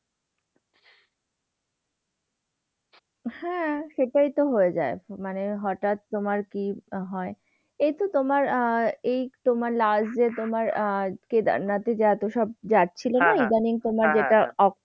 হ্যাঁ সেটাইতো হয়ে যায়। মানে হঠাৎ তোমার কি হয়, এইতো তোমার আহ এই তোমার last যে তোমার আহ কেদারনাথ এ এত সব যাচ্ছিল না? ইদানীং তোমার যেটা off